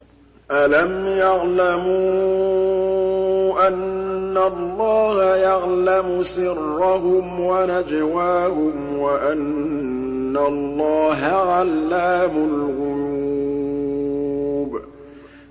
أَلَمْ يَعْلَمُوا أَنَّ اللَّهَ يَعْلَمُ سِرَّهُمْ وَنَجْوَاهُمْ وَأَنَّ اللَّهَ عَلَّامُ الْغُيُوبِ